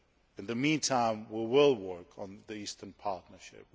In the meantime we will work on the Eastern Partnership